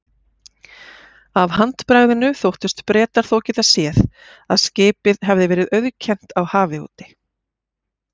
Af handbragðinu þóttust Bretar þó geta séð, að skipið hefði verið auðkennt á hafi úti.